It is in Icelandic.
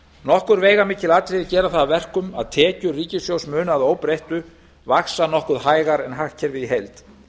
nokkur veigamikil atriði gera það að verkum að tekjur ríkissjóðs munu að óbreyttu vaxa nokkru hægar en hagkerfið í heild